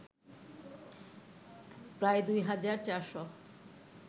প্রায় ২ হাজার ৪ শ